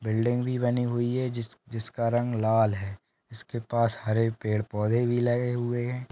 Building भी बनी हुई है। जिसका रंग लाल है। इसके पास हरे पेड़ पौधे भी लगे हुए है।